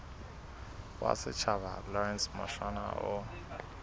wa setjhaba lawrence mushwana o